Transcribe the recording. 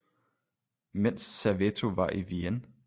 Mens serveto var i vienne